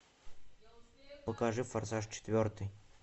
покажи форсаж четвертый